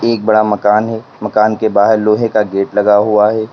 एक बड़ा मकान है मकान के बाहर लोहे का गेट लगा हुआ है।